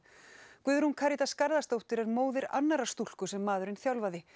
Guðrún Karítas Garðarsdóttir er móðir annarrar stúlku sem maðurinn þjálfaði